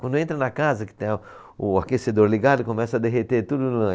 Quando entra na casa, que tem a o aquecedor ligado, começa a derreter tudo.